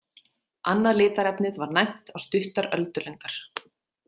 Annað litarefnið var næmt á stuttar öldulengdar.